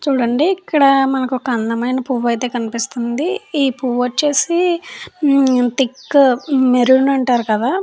చూడండి ఇక్కడ మనకు ఒక అందమైన పువ్వు అయితే కనిపిస్తుంది ఈ పువ్వు వచ్చేసి థిక్ మెరూన్ అంటారు కదా --